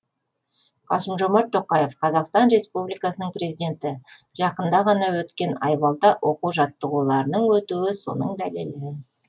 қасым жомарт тоқаев қазақстан республикасының президенті жақында ғана өткен айбалта оқу жаттығуларының өтуі соның дәлелі